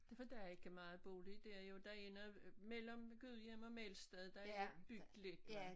Det for der er ikke meget bolig dér jo der er noget mellem Gudhjem og Melsted der er bygget lidt